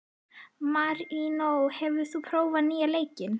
Marínó, hefur þú prófað nýja leikinn?